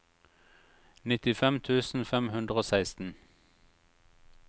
nittifem tusen fem hundre og seksten